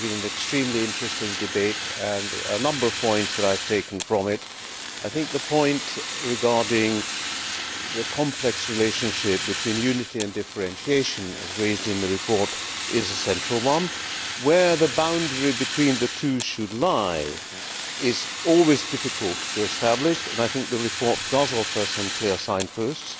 This has been an extremely interesting debate and there are a number of points that I have taken from it. I think the point regarding the complex relationship between unity and differentiation, as raised in the report, is a central one. Where the boundary between the two should lie is always difficult to establish and I think the report does offer some clear signposts.